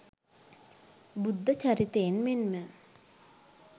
බුද්ධ චරිතයෙන් මෙන්ම